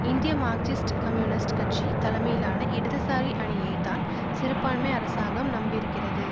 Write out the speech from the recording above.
இந்திய Marxist communist கட்சி தலைமையிலான இடதுசாரி அணியைதான் சிறுபான்மை அரசாங்கம் நம்பியிருக்கிறது